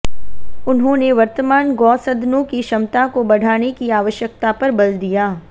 उन्होंने वर्तमान गौ सदनों की क्षमता को बढ़ाने की आवश्यकता पर बल दिया